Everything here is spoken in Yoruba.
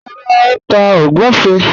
Rárá, ó n tá ogunfẹ́